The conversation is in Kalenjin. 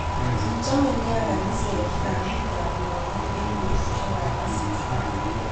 Kichome nea kaniset kambit ab lakok eng betusiek ab asista